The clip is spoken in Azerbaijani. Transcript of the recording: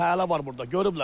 Fəhlələr var burda, görüblər.